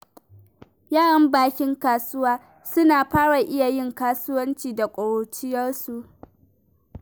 Yaran bakin kasuwa suna fara iya yin kasuwanci da ƙuruciyarsu.